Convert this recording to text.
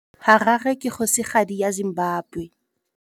Harare ke kgosigadi ya Zimbabwe.